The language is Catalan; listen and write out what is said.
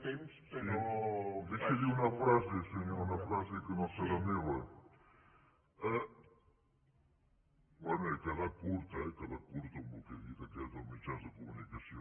em deixa dir una frase una frase que no serà meva bé he quedat curt he quedat curt amb el que he dit dels mitjans de comunicació